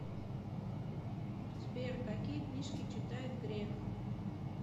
сбер какие книжки читает греф